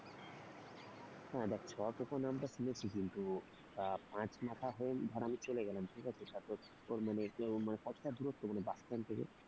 হ্যাঁ দেখ ছপকর নামটা শুনেছি কিন্তু পাঁচ মাথা হয়ে ধর আমি চলে গেলাম ঠিক আছে তা তোর মে কত টা দুরত্ব মানে bus stand থেকে?